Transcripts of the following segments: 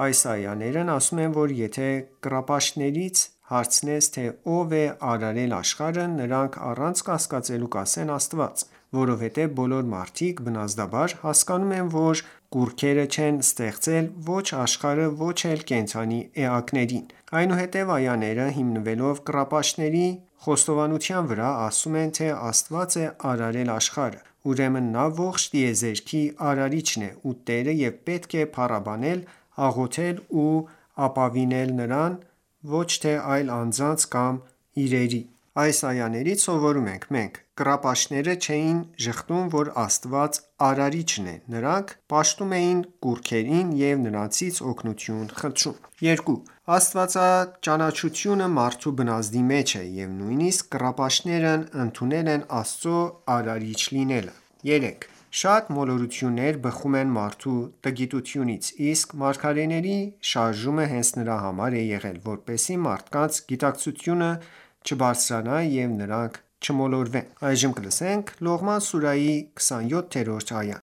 Այս այաներն ասում են, որ եթե կռապաշտներից հարցնես, թե ով է արարել աշխարհը, նրանք առանց կասկածելու կասեն,- Աստված: Որովհետև բոլոր մարդիկ բնազդաբար հասկանում են, որ կուռքերը չեն ստեղծել ոչ աշխարհը և ոչ էլ կենդանի էակներին: Այնուհետև այաները, հիմնվելով կռապաշտների խոստովանության վրա, ասում են,- Եթե Աստված է արարել աշխարհը, ուրեմն նա ողջ տիեզերքի Արարիչն է ու տերը և պետք է փառաբանել, աղոթել ու ապավինել Նրան, ոչ թե այլ անձանց կամ իրերի: Այս այաներից սովորում ենք. 1. Կռապաշտները չէին ժխտում, որ Աստված Արարիչն է: Նրանք պաշտում էին կուռքերին և նրանցից օգնություն խնդրում: 2. Աստվածաճանաչությունը մարդու բնազդի մեջ է և նույնիսկ կռապաշտներն ընդունել են Աստծու Արարիչ լինելը: 2. Շատ մոլորություններ բխում են մարդու տգիտությունից: Իսկ մարգարեների շարժումը հենց նրա համար է եղել, որպեսզի մարդկանց գիտակցությունը չբարձրանա ու նրանք չմոլորվեն: Լողման սուրահի 27-րդ այա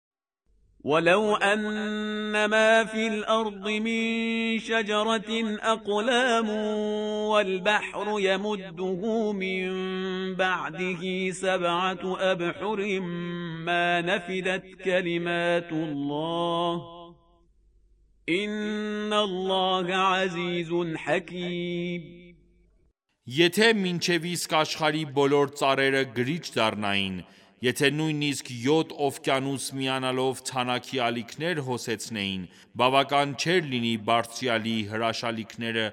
Եթե մինչև իսկ աշխարհի բոլոր ծառերը գրիչ դառնային, եթե նույնիսկ յոթ օվկիանոս միանալով թանաքի ալիքներ հոսեցնեին, բավական չէր լինի Բարձրյալի հրաշալիքները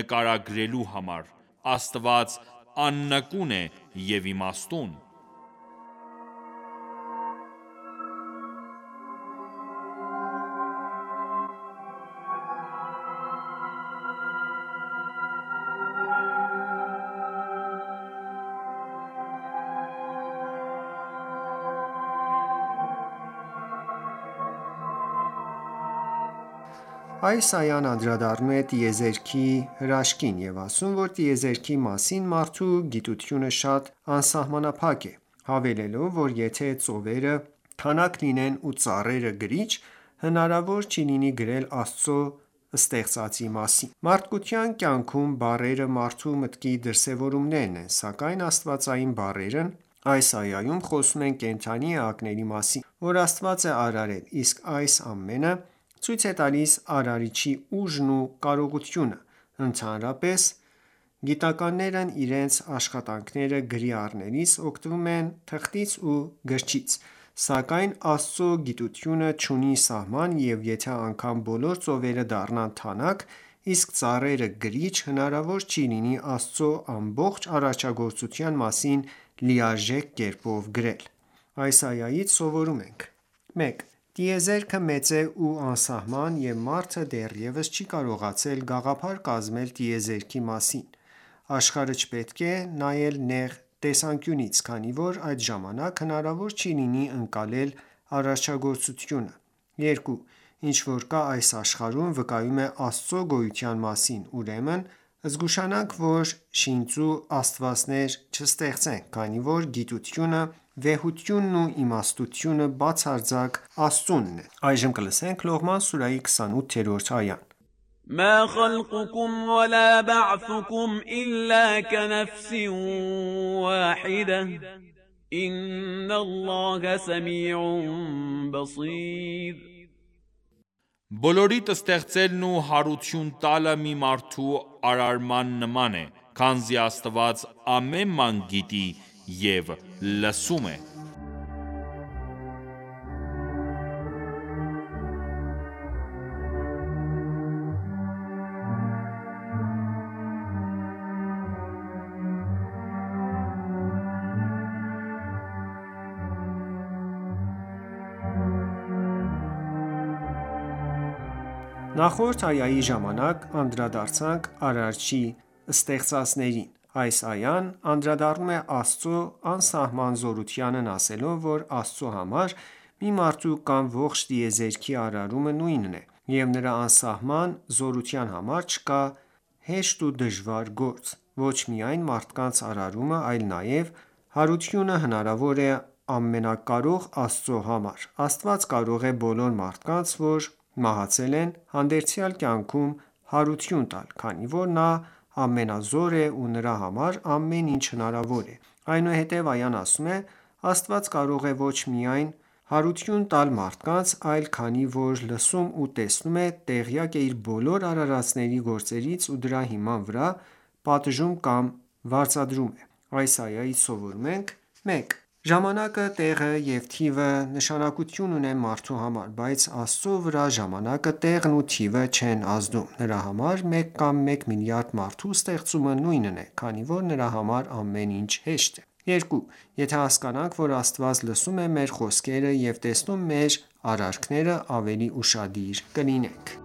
նկարագրելու համար: Աստված աննկուն է և իմաստուն: Աս այան անդրադառնում է տիեզերքի հրաշքին և ասում, որ տիեզերքի մասին մարդու գիտությունը շատ անսահամանափակ է, հավելելով, որ եթե ծովերը թանաք լինեն ու ծառերը գրիչ, հնարավոր չի լինի գրել Աստծու ստեղծածի մասին: Մարդկային կյանքում բառերը մարդու մտքի դրսևորումներն են, սակայն աստվածային բառերն այս այայում խոսում են կենդանի էակների մասին, որ Աստված է արարել, իսկ այս ամենը ցույց է տալիս Արարչի ուժն ու կարողությունը: Ընդհանրապես գիտնականներն իրենց աշխատանքները գրի առնելիս, օգտվում են թղթից ու գրչից: Սակայն Աստծու գիտությունը չունի սահման և եթե անգամ բոլոր ծովերը դառնան թանաք իսկ ծառերը՝ գրիչ, հնարավոր չի լինի Աստծու ամբողջ արարչագործության մասին լիարժեք կերպով գրել: Այս այայից սովորում ենք. 1. Տիեզերքը մեծ է ու անսահման և մարդը դեռևս չի կարողացել գաղափար կազմել տիեզերքի մասին: Աշխարհը չպետք է նայել նեղ տեսանկյունից, քանի որ այդ ժամանակ հնարավոր չի լինի ընկալել արարչագործությունը: 2. Ինչ որ կա այս աշխարհում, վկայում է Աստծու գոյության մասին: Ուրեմն զգուշանանք, որ շինծու աստվածներ չստեղծենք, քանի որ գիտությունը, վեհությունն ու իմաստնությունը բացարձակ Աստծունն են: Լողման սուրահի 28-րդ այա مَا خَلْقُکُمْ وَلَا بَعْثُکُمْ إِلَّا کَنَفْسٍ وَاحِدَةٍ ۗ إِنَّ اللَّهَ سَمِیعٌ بَصِیرٌ Բոլորիդ ստեղծելն ու հարություն տալը մի մարդու արարման նման է, քանզի Աստված ամեն բան գիտի և լսում է: Նախորդ այայի ժամանակ անդրադարձանք Արարչի ստեղծածներին: Այս այան անդրադառնում է Աստծու անսահման զորությանն ասելով, որ Աստծու համար մի մարդու կամ ողջ տիեզերքի արարումը նույնն է և նրա անսահման զորության համար չկա հեշտ ու դժվար գործ: Ոչ միայն մարդկանց արարումը, այլ նաև հարությունը հնարավոր է ամենակարող Աստծու համար: Աստված կարող է բոլոր մարդկանց, որ մահացել են, հանդերձյալ կյանքում հարություն տալ: Քանի որ նա ամենազոր է ու նրա համար ամեն ինչ հնարավոր է: Այնուհետև այան ասում է.- Աստված կարող է ոչ միայն հարություն տալ մարդկանց, այլ քանի որ լսում ու տեսնում է, տեղյակ է իր բոլոր արարածների գործերից ու դրա հիման վրա պատժում կամ վարձատրում է: Այս այայից սովորում ենք. 1.Ժամանակը, տեղը և թիվը նշանակություն ունեն մարդու համար, բայց Աստծու վրա ժամանակը տեղն ու թիվը չեն ազդում: Նրա համար մեկ կամ մեկ միլիարդ մարդու ստեղծումը նույնն է, քանի որ նրա համար ամեն ինչ հեշտ է: 2. Եթե հասկանանք, որ Աստված լսում է մեր խոսքերը, և տեսնում մեր արարքները, ավելի ուշադիր կլինենք: